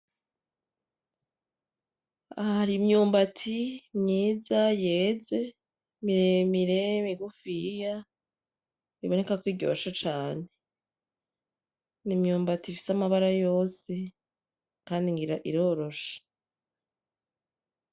Aha har'imyumbati myiza yeze miremire migufiya iboneka ko iryoshe cane,n,imyumbati ifise amabara yose kandi ngira iroroshe .